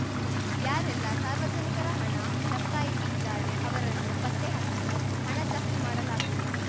ಯಾರೆಲ್ಲಾ ಸಾರ್ವಜನಿಕರ ಹಣ ಲಪಾಟಾಯಿಸಿದ್ದಾರೆ ಅವರನ್ನು ಪತ್ತೆ ಹಚ್ಚಿ ಹಣ ಜಪ್ತಿ ಮಾಡಲಾಗುವುದು